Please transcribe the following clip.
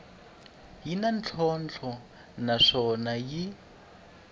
yi na ntlhontlho naswona yi